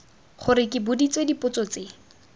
gore ke boditswe dipotso tse